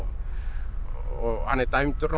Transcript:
og hann er dæmdur